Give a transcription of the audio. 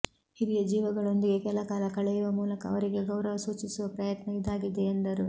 ಹಿರಿಯ ಜೀವಗಳೊಂದಿಗೆ ಕೆಲ ಕಾಲ ಕಳೆಯುವ ಮೂಲಕ ಅವರಿಗೆ ಗೌರವ ಸೂಚಿಸುವ ಪ್ರಯತ್ನ ಇದಾಗಿದೆ ಎಂದರು